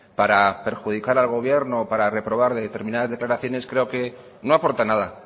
para perjudicar al gobierno o para reprobarle determinadas declaraciones creo que no aporta nada